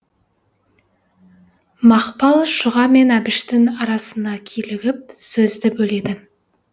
мақпал шұға мен әбіштің арасына килігіп сөзді бөледі